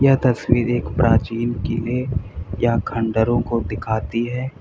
यह तस्वीर एक प्राचीन किले या खंडहरों को दिखाती है।